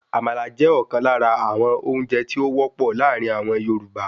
Àmàlà jẹ́ ọ̀kan lára àwọn oúnjẹ tí o wọ́pọ̀ láàrin àwọn Yorùbá